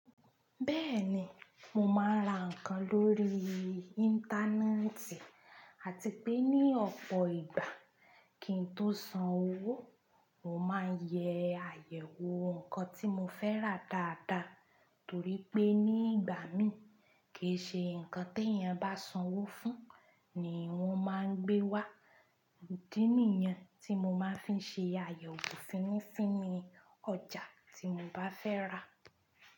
Bẹ́ẹ̀ni, mo máa ń ra nǹkan lórí Íńtánẹ́ẹ̀tì àti pé ní ọ̀pọ̀ ìgbà kí n tó san owó, mo máa ń yẹ àyẹ̀wò nǹkan tí mo fẹ́ rà dáadáa torí pé ní ìgbà mí, kì í ṣe nǹkan tí èèyàn bá san owó fún ni wọ́n máa ń gbé wá. Òdinìyàn tí mo máa ń fi ṣe àyẹ̀wò fínní fínní ni ọjà tí mo bá fẹ́ rà.